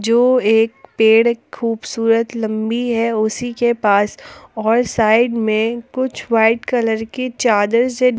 वो एक पेड़ खुबसुरत लंबी है उसी के पास और साइड में कुछ व्हाइट कलर की चादर से--